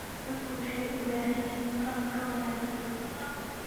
Dadku waxay u baahan yihiin qalab ka wanaagsan.